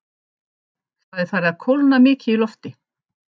Það er farið að kólna mikið í lofti.